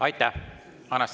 Aitäh!